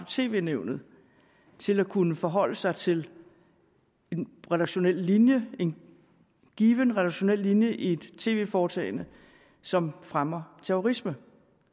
tv nævnet til at kunne forholde sig til en redaktionel linje en given redaktionel linje i et tv foretagende som fremmer terrorisme